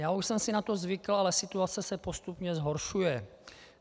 Já už jsem si na to zvykl, ale situace se postupně zhoršuje.